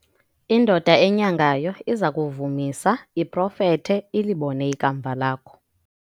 indoda enyangayo iza kuvumisa iprofethe, ilibone ikamva lakho